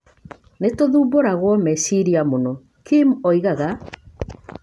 Nĩ tũthumbũragwo meciria mũno" Kim oigaga.